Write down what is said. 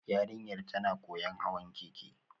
Yarinyar tana koyon hawan keke